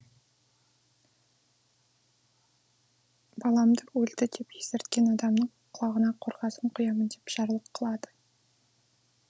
баламды өлді деп естірткен адамның құлағына қорғасын құямын деп жарлық қылады